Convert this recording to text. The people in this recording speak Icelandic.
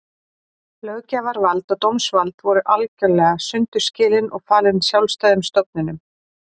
Löggjafarvald og dómsvald voru algerlega sundur skilin og falin sjálfstæðum stofnunum.